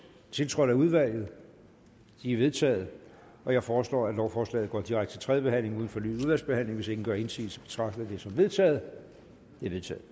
tiltrådt af udvalget de er vedtaget jeg foreslår at lovforslaget går direkte til tredje behandling uden fornyet udvalgsbehandling hvis ingen gør indsigelse betragter jeg det som vedtaget det er vedtaget